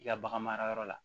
I ka bagan mara yɔrɔ la